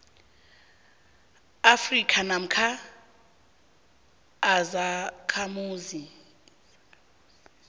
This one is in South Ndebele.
afrika namkha izakhamuzi